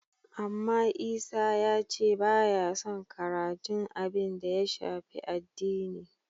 Amma Isa ya ce ba yason karatun abin da ya shafi addini.